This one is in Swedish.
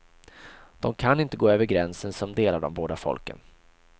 De kan inte gå över gränsen som delar de båda folken.